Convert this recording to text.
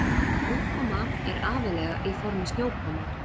Úrkoma er aðallega í formi snjókomu.